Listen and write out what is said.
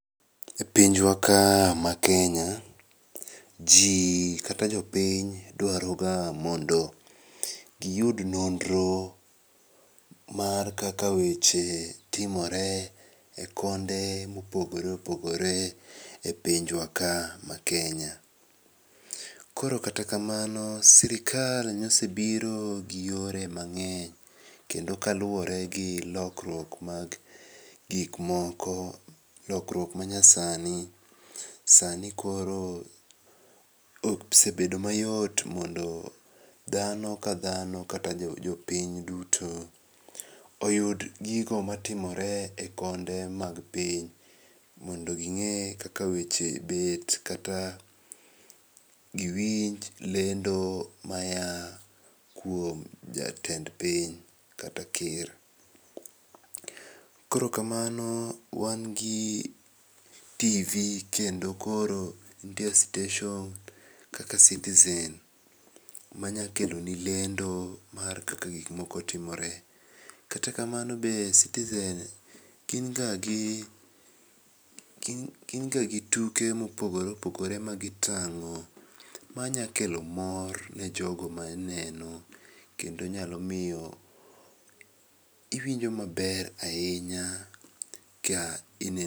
E pinjwa ka maKenya jii kata jopiny dwaroga mondo giyud nonro mar kaka weche timore e konde mopogore opogore e pinjwa ka maKenya. Koro kata kamano sirikal nosebiro gi yore mang'eny, kendo kaluoregi lokruok mag gikmoko, lokruok manyasani sani koro okosebedo mayot mondo dhano kadhano kata jopiny duto oyud gigo matimore e konde mag piny mondo ging'e kaka weche bet kata giwinj lendo maya kuom jatend piny kata ker. Koro kamano wan gi tv kendo koro ntie station kaka Citizen manyakeloni lendo mar kaka gikmoko timore, kata kamano be Citizen gin ga gituke mopogore opogore magitang'o manyakelo mor ne jogo maneno kendo nyalomiyo iwinjo maber ahinya ka ine.